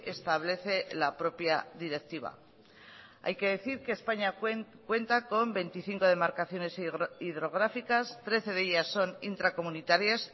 establece la propia directiva hay que decir que españa cuenta con veinticinco demarcaciones hidrográficas trece de ellas son intracomunitarias